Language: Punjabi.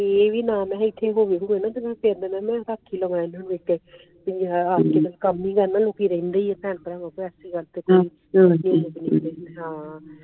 ਏ ਵੀ ਕਮ ਹੀ ਕਰਨਾ ਆ ਲੋਕੀ ਰਹਿੰਦੇ ਆ ਭੈਣ ਪ੍ਰਾ